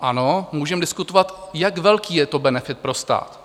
Ano, můžeme diskutovat, jak velký je to benefit pro stát.